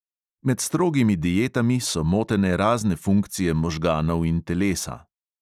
Med strogimi dietami so motene razne funkcije možganov in telesa.